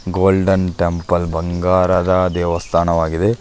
Golden temple ಬಂಗಾರದ ದೇವಸ್ಥಾನವಾಗಿದೆ.